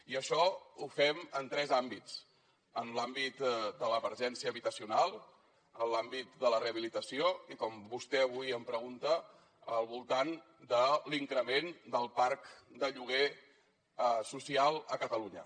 i això ho fem en tres àmbits en l’àmbit de l’emergència habitacional en l’àmbit de la rehabilitació i com vostè avui em pregunta al voltant de l’increment del parc de lloguer social a catalunya